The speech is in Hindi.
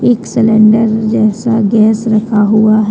एक सिलेंडर जैसा गैस रखा हुआ है।